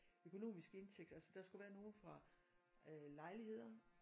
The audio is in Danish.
Økonomisk indtægt altså der skulle være nogen fra øh lejligheder